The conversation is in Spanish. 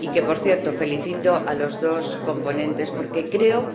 Y, por cierto, felicito a los dos coponentes porque creo